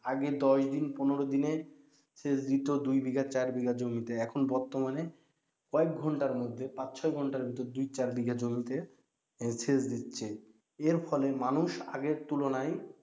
আগে দশ দিন পনেরো দিনে সেচ দিত দুই বিঘা চার বিঘা জমিতে, এখন বর্তমানে কয়েক ঘন্টার মধ্যে পাঁচ ছয় ঘন্টার ভিতর দুই চার বিঘা জমিতে সেচ দিচ্ছে। এর ফলে মানুষ আগের তুলনায়,